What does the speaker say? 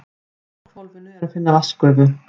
Í gufuhvolfinu er að finna vatnsgufu.